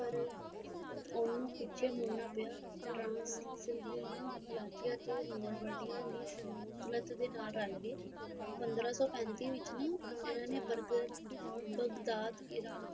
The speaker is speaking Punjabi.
ਉਨੂੰ ਪਿੱਛੇ ਮੁੜਨਾ ਪਿਆ ਤਰਸਬਿਲਾ ਮੋਰਵਡਿਹਾ ਲਈ ਸੰਤਤਲਣ ਨਾਲ ਰਾਲ ਗਏ ਪੰਦਰਾ ਸੋ ਪੈਤੀ ਵਿੱਚ ਬਗਦਾਦ ਇਰਾਨ